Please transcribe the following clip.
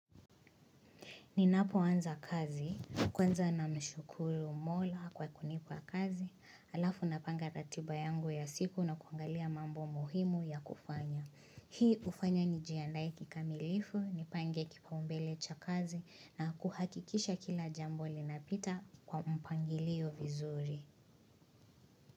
Ninapoanza kazi, kwanza na mshukuru mola kwa kunipa kazi, alafu napanga ratiba yangu ya siku na kuangalia mambo muhimu ya kufanya. Hii ufanya nijiandae kikamilifu, nipange kipaumbele cha kazi na kuhakikisha kila jambo linapita kwa mpangilio vizuri.